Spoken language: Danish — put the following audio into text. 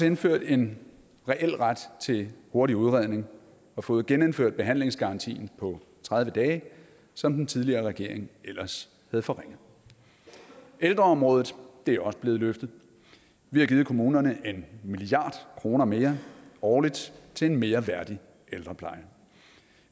indført en reel ret til en hurtig udredning og fået genindført behandlingsgarantien på tredive dage som den tidligere regering ellers havde forringet ældreområdet er også blevet løftet vi har givet kommunerne en milliard kroner mere årligt til en mere værdig ældrepleje